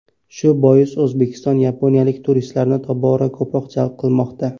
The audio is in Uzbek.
Shu bois O‘zbekiston yaponiyalik turistlarni tobora ko‘proq jalb qilmoqda.